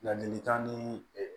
Ladilikan ni